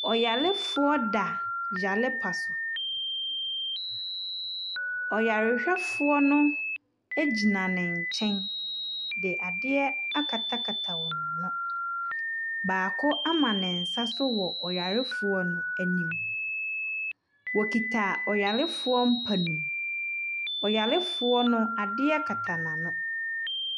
Ɔyarefoɔ da yarempa so. Ɔyarehwɛfoɔ no gyina ne nkyɛn de adeɛ akatakata wɔn ano. Baako ama ne nsa so wɔ ɔyarefoɔ no anim. Ɔkita ɔyarefoɔ mp no mu. Ɔyarefoɔ no, adeɛ kata n'ano.